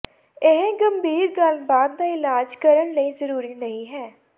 ਇਹ ਗੰਭੀਰ ਗੱਲਬਾਤ ਦਾ ਇਲਾਜ ਕਰਨ ਲਈ ਜ਼ਰੂਰੀ ਨਹੀ ਹੈ